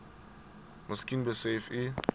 miskien besef u